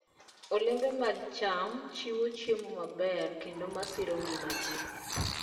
Olembe mag cham chiwo chiemo maber kendo masiro ngima ji.